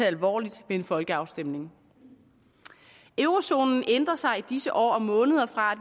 alvorligt ved en folkeafstemning eurozonen ændrer sig i disse år og måneder fra at